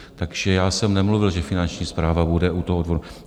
Takže já jsem nemluvil, že Finanční správa bude u toho odvodu.